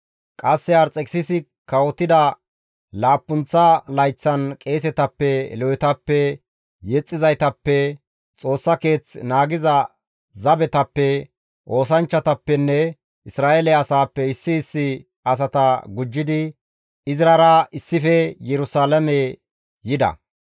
Qasse Arxekisisi kawotida laappunththa layththan qeesetappe, Lewetappe, yexxizaytappe, Xoossa Keeth naagiza zabetappe, oosanchchatappenne Isra7eele asaappe issi issi asata gujjidi Izrara issife Yerusalaame yida.